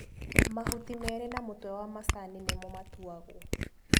Mahuti merĩ na mũtwe wa macani nĩmo matuagwo.